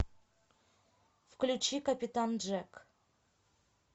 включи капитан джек